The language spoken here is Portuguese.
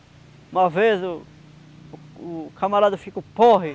Uma vez o o camarada ficou porre.